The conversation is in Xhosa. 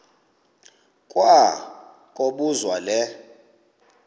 kwa kobuzwa le